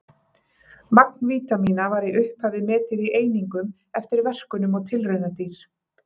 Magn vítamína var í upphafi metið í einingum eftir verkunum á tilraunadýr.